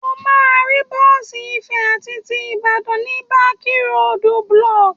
O máa rí bọ́ọ̀sì Ifẹ̀ àti ti Ìbàdàn ní páàkì Road Block.